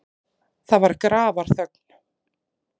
Það var grafarþögn.